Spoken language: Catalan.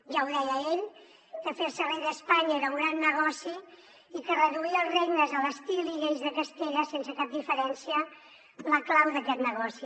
ja ho deia ell que fer se rei d’espanya era un gran negoci i que reduir els regnes a l’estil i lleis de castella sense cap diferència la clau d’aquest negoci